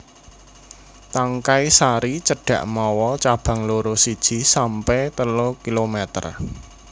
Tangkai sari cendhak mawa cabang loro siji sampe telu milimeter